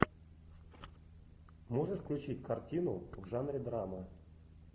можешь включить картину в жанре драма